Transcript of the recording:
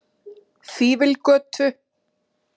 Fífilgötu